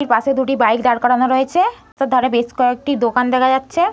একটি পাশে দুটি বাইক দাঁড় করানো রয়েছে । তার ধারে বেস কয়েকটি দোকান দেখা যাচ্ছে।